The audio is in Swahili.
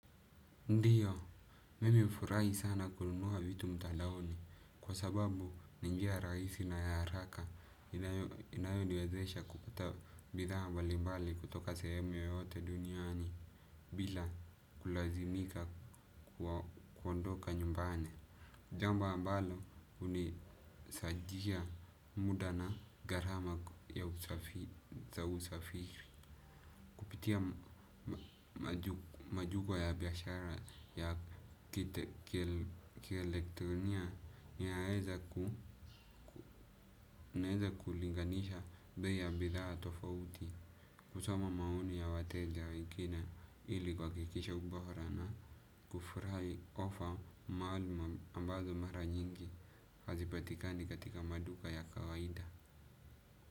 Ndiyo, mimi hufurahi sana kununua vitu mtandaoni kwa sababu ni njia rahisi na ya haraka. Inayoniwezesha kupata bidhaa ambalimbali kutoka sehemu yoyote duniani bila kulazimika kuondoka nyumbani. Jambo ambalo unisadia muda na garama ya usafiri. Pitia majugo ya biashara ya kielektronia. Ninaweza kulinganisha bei ya bidhaa tofauti. Husoma maoni ya wateja wengine ili kuhakikisha ubora na. Kufurahi ofa maalum ambazo mara nyingi hazipatikani katika maduka ya kawaida.